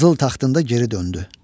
Qızıl taxtında geri döndü.